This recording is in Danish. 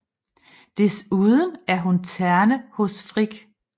Desuden er hun terne hos Frigg